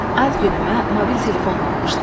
Ad günümə mobil telefon almışdı.